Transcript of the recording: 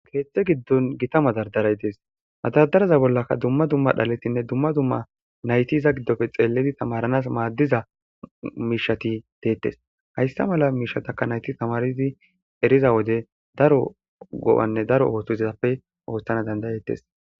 keeththe giddon gita madardaray dees madardaraza bollaka dumma dumma dhaletinne dumma dumma naytiza giddofe xeelledi tamaranas maaddiza miishati deettes hayssa mala miishataka nayti tamaridi eriza wode daro go7anne daro ootozappe ooththana dandayettes